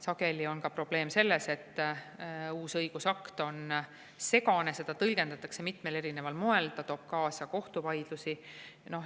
Sageli on probleem ka selles, et uus õigusakt on segane, seda tõlgendatakse mitmel erineval moel ja see toob kaasa kohtuvaidlusi.